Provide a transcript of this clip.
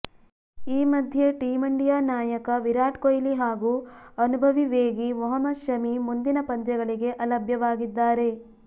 ಈ ಮಧ್ಯೆ team India ನಾಯಕ ವಿರಾಟ್ ಕೊಹ್ಲಿ ಹಾಗೂ ಅನುಭವಿ ವೇಗಿ ಮೊಹಮದ್ ಶಮಿ ಮುಂದಿನ ಪಂದ್ಯಗಳಿಗೆ ಅಲಭ್ಯವಾಗಿದ್ದಾರೆ